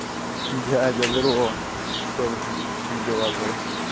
дядя здорово что ты там как дела твои